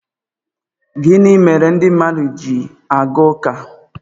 gịnị mere ndị mmadụ ji aga ụka